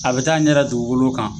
A be t'a ɲɛ da dugukolo kan